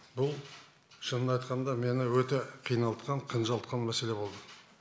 бұл шынын айтқанда мені өте қиналтқан қынжылтқан мәселе болды